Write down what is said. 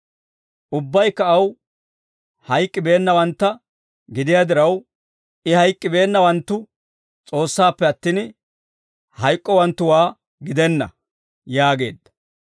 Ubbaykka aw hayk'k'i beennawantta gidiyaa diraw, I hayk'k'ibeennawanttu S'oossaappe attin, hayk'k'owanttuwaa gidenna» yaageedda.